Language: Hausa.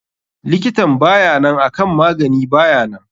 Likitan bayanan akan magani bayanan.